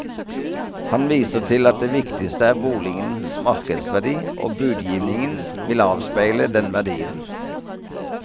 Han viser til at det viktigste er boligens markedsverdi, og budgivningen vil avspeile den verdien.